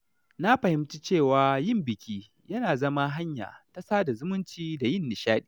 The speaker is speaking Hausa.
Na fahimci cewa yin biki yana zama hanya ta sada zumunci da yin nishaɗi.